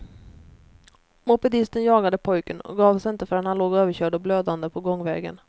Mopedisten jagade pojken och gav sig inte förrän han låg överkörd och blödande på gångvägen.